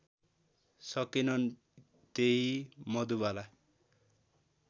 सकेनन् त्यहि मधुबाला